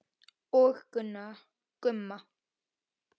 Og Gumma.